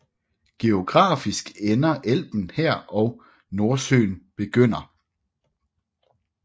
Geografisk ender Elben her og Nordsøen begynder